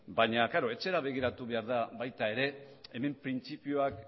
baina klaro etxera begiratu behar da baita ere hemen printzipioak